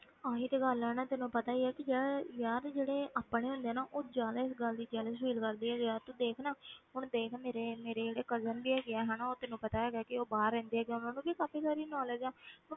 ਆਹੀ ਤੇ ਗੱਲ ਹੈ ਨਾ ਤੈਨੂੰ ਪਤਾ ਹੀ ਹੈ ਕਿ ਜਿਹੜੇ ਯਾਰ ਜਿਹੜੇ ਆਪਣੇ ਹੁੰਦੇ ਆ ਨਾ ਉਹ ਜ਼ਿਆਦਾ ਇਸ ਗੱਲ ਦੀ jealous feel ਕਰਦੇ ਹੈਗੇ ਆ, ਤੂੰ ਦੇਖ ਨਾ ਹੁਣ ਦੇਖ ਮੇਰੇ, ਮੇਰੇ ਜਿਹੜੇ cousin ਵੀ ਹੈਗੇ ਆ ਨਾ ਉਹ ਤੈਨੂੰ ਪਤਾ ਹੈਗਾ ਕਿ ਉਹ ਬਾਹਰ ਰਹਿੰਦੇ ਹੈਗੇ ਆ, ਉਹਨਾਂ ਨੂੰ ਵੀ ਕਾਫ਼ੀ ਸਾਰੀ knowledge ਹੈ,